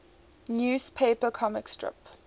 newspaper comic strip